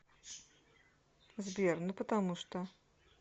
сбер ну потому что